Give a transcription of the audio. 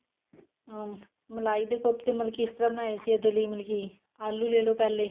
ਅਹ ਮਲਾਈ ਦੇ ਕੋਫਤੇ ਮਤਲਬ ਕੀ ਇਸ ਤਰ੍ਹਾਂ ਬਨਾਏ ਸੀ ਇਹਦੇ ਲਈ ਆਲੂ ਲੈ ਲਓ ਪਿਹਲੇ